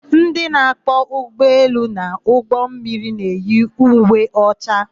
Ndị na-akwọ ụgbọelu na ụgbọmmiri na-eyi uwe ọcha.